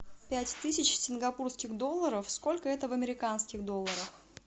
пять тысяч сингапурских долларов сколько это в американских долларах